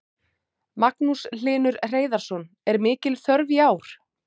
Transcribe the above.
Magnús Hlynur Hreiðarsson: Er mikil þörf í ár?